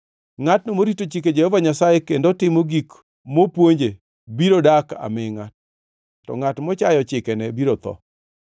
Ngʼatno morito chike Jehova Nyasaye kendo timo gik mopuonje biro dak amingʼa, to ngʼat mochayo chikene biro tho.